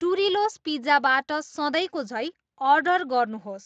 टुरिलोस पिज्जाबाट सधैँको झैँ अर्डर गर्नुहोस्